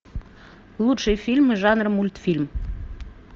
лучшие фильмы жанра мультфильм